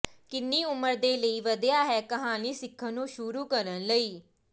ਕਿੰਨੀ ਉਮਰ ਦੇ ਲਈ ਵਧੀਆ ਹੈ ਕਹਾਣੀ ਸਿੱਖਣ ਨੂੰ ਸ਼ੁਰੂ ਕਰਨ ਲਈ